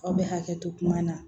Aw bɛ hakɛ to kuma na